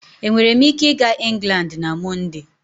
Enwere m ike ịga England na Mọnde?